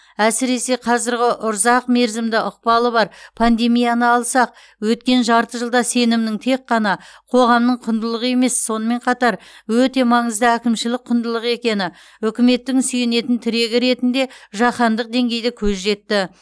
әсіресе қазіргі ұрзақ мерзімді ықпалы бар пандемияны алсақ өткен жарты жылда сенімнің тек қана қоғамның құндылығы емес сонымен қатар өте маңызды әкімшілік құндылық екені үкіметтің сүйенетін тірегі ретінде жаһандық деңгейде көз жетті